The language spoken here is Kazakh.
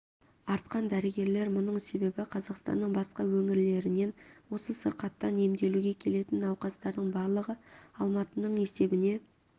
артқан дәрігерлер мұның себебі қазақстанның басқа өңірлерінен осы сырқаттан емделуге келетін науқастардың барлығы алматының есебіне